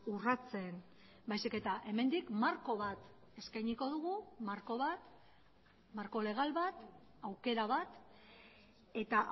urratzen baizik eta hemendik marko bat eskainiko dugu marko bat marko legal bat aukera bat eta